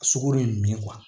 A sugoro ye min ye